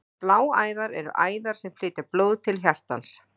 Bláæðar eru æðar sem flytja blóð til hjartans.